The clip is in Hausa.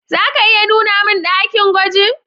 Za ka iya nuna mun dakin gwajin?